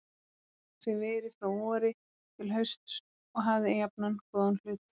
Var Magnús í veri frá vori til hausts og hafði jafnan góðan hlut.